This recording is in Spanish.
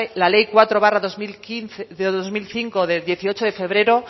la ley cuatro barra dos mil cinco de dieciocho de febrero